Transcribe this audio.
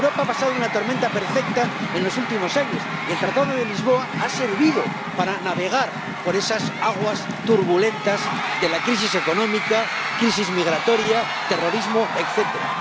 Europa ha pasado una tormenta perfecta en los últimos años, y el Tratado de Lisboa ha servido para navegar por esas aguas turbulentas de crisis económica, crisis migratoria, terrorismo, etcétera.